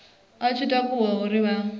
i tshi takuwa uri vha